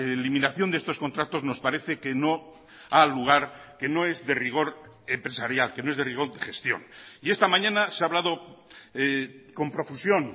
eliminación de estos contratos nos parece que no ha lugar que no es de rigor empresarial que no es de rigor de gestión y esta mañana se ha hablado con profusión